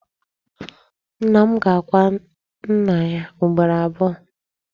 Nna m ga-akwa nnà yá ugboro abụọ.